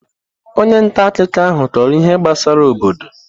Onye nta akụkọ ahụ kọrọ ihe gbasara obodo.